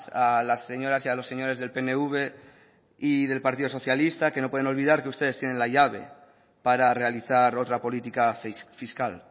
a las señoras y a los señores del pnv y del partido socialista que no pueden olvidar que ustedes tienen la llave para realizar otra política fiscal